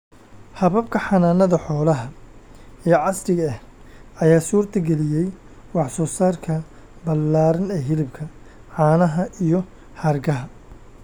Hababka xanaanada xoolaha ee casriga ah ayaa suurtageliyay wax soo saarka ballaaran ee hilibka, caanaha, iyo hargaha.